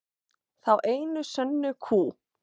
Þá einu sönnu kú.